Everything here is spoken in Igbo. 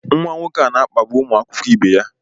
Nwa nwoke a na-akpagbu ụmụ akwụkwọ ibe ya